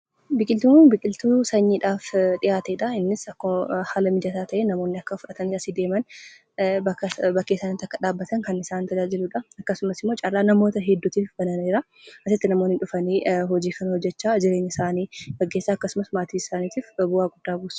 Biqiltuun kun biqiltuu sanyiidhaaf dhiyaatedha. Innis akkuma haala mijataa ta'een namoonni akka fudhatanii asii deeman, bakkee isaaniitti akka dhaabbatan kan isaan tajaajiludha. Akkasumasimmoo carraa namoota hedduutiif banameera. Asitti namoonni dhufani hojii kana hojjachaa jireenyaa isaanii gaggeessaa akkasumas maatii isaaniitiif bu'aa guddaa buusu.